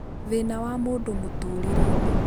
thĩna wa mũndũ mutũũrire-inĩ